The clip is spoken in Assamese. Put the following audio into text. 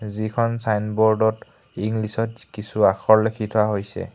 যিখন ছাইনব'ৰ্ডত ইংলিছত কিছু আখৰ লিখি থোৱা হৈছে।